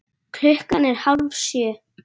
Klukkan er hálf sjö.